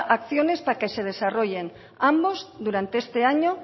acciones para que se desarrollen ambos durante este año